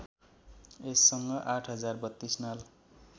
यससँग ८ हजार ३२ नाल